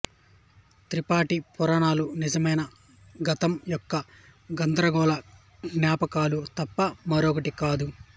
త్రిపాఠి పురాణాలు నిజమైన గతం యొక్క గందరగోళ జ్ఞాపకాలు తప్ప మరొకటి కాదు